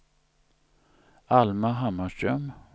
Alma Hammarström